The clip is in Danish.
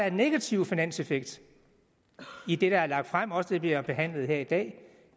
en negativ finanseffekt i det der er lagt frem også det vi har behandlet her i dag